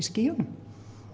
skýjunum